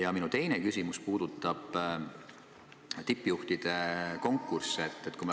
Ja minu teine küsimus puudutab tippjuhtide konkursse.